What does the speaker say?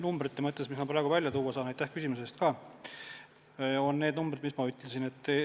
Numbritest on ainukesed, mis ma praegu välja saan tuua, need numbrid, mis ma juba ütlesin.